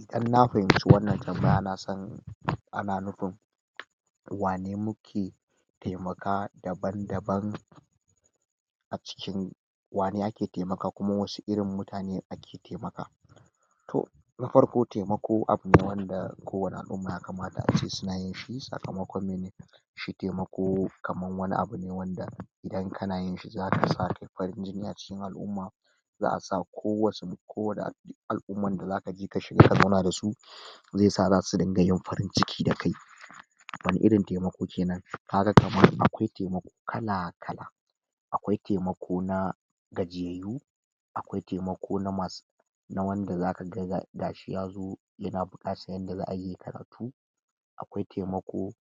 Idan na fahimci wannan tambaya nasan ana nupin wane muke taimaka daban-daban a cikin wane ake taimaka kuma wasu irin mutane ake taimaka toh na farko taimako abune wanda ko wani al'umma ya kamata ace suna yinshi sakamakon mene shi taimako kaman wani abune wanda idan kana yinshi zaka sake farin jini a cikin al'umma za'a sa ko wasu ko wane al al'umman da zaka je ka shiga ka zauna da su zesa zasu dinga yin farin ciki da kai wani irin taimako kenan? kaga kaman akwai taimako kala-kala akwai taimako na gajiyayyu a akwai taimako na masu na wanda zaka ga gashi yazo yana buƙatan yanda za'ayi yayi karatu akwai taimako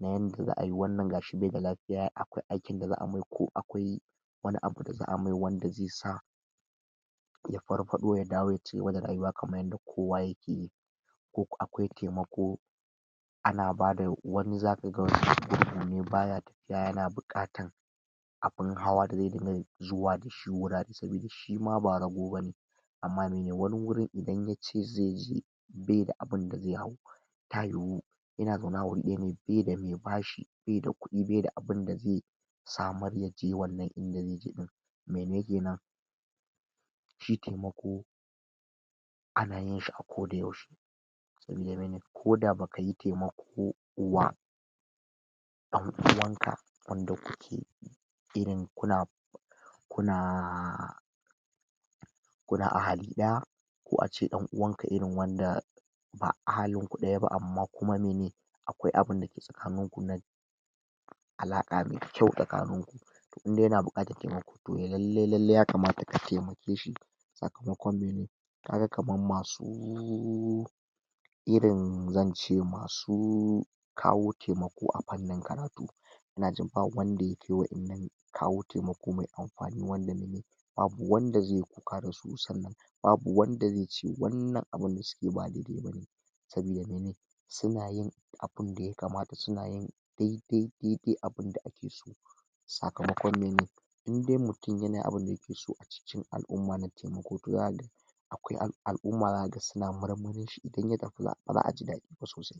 na yanda za'ayi wannan gashi bai da lafiya akwai aikin da za'a mai ko akwai wani abu da za'a mai wanda ze sa ya parpaɗo ya dawo ya cigiba da rayuwa kaman yanda kowa yake yi ko akwai taimako ana bada wani zaka ga um gurgu ne baya yana buƙatan abin hawa da ze dinga zuwa duk wurare sabida shima ba rago bane amma mene wani wurin idan yace zeje beda abinda ze hau ta yuwu yana zaune a wuri ɗaya ne beda mai bashi beda kuɗi beda abinda ze samar yaje wannan inda zeje ɗin mene kenan shi taimako a ana yinshi a koda yaushe sabida mene koda bakayi taimako wa ɗan uwan ka wanda kuke irin kuna kunaaa kuna ahali ɗaya ko ace ɗan uwanka irin wanda ba ahalinku ɗaya ba amma kuma mene akwai abinda ke tsakanin ku na alaƙa mai kyau tsakanin ku indai yana buƙatan taimako toh lallai lallai ya kamata ka taimake shi sakamakon mene naga kaman masu irin zance masu kawo taimako a pannin karatu inajin ba wanda yake wa'innan kawo taimako mai ampanin karatu babu wanda zeyi kuka da su sannan babu wanda zece wannan abun da sukeyi ba daidai bane sabida mene suna yin abinda ya kamata suna yin dai dai dai dai abinda ake sakamakon mene indai mutum yana yin abinda yake so a cikin al'umma na taimako to ya akwai al'umma zaka ga suna marmarin in ya tafi ba za'a ji daɗi ba sosai.